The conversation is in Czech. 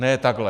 Ne takhle.